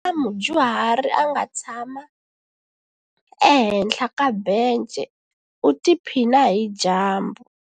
Ku na mudyuhari a nga tshama ehenhla ka bence u tiphina hi dyambu.